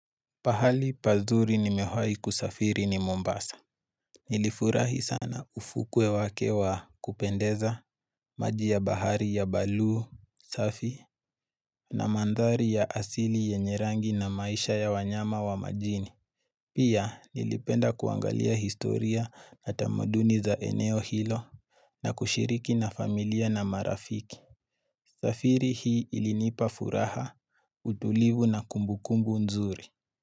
Pahali pazuri nimewahi kusafiri ni Mombasa. Nilifurahi sana ufukwe wake wa kupendeza, maji ya bahari ya balu, safi, na mandhari ya asili yenye rangi na maisha ya wanyama wa majini. Pia nilipenda kuangalia historia na tamaduni za eneo hilo na kushiriki na familia na marafiki. Safiri hii ilinipa furaha, utulivu na kumbukumbu nzuri.